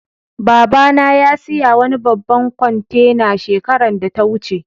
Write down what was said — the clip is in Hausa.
Baba na ya siya wani babban kwantena shekaran da ta wuce.